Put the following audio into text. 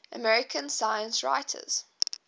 american science writers